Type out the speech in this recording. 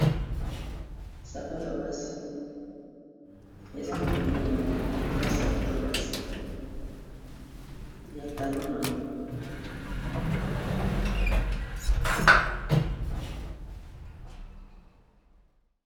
Sapato ya basi eza makolo mibale eza sapato ya basi ya talon nango.